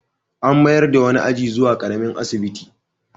An mayar da wani aji zuwa ƙaramin asibiti.